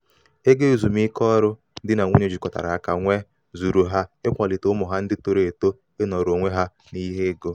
ego ezumiike ọrụ di na nwunye jikọtara aka nwee zuuru ha ịkwalite ụmụ ha ndị toro eto ịnọrọ onwe ha n'ihe ego.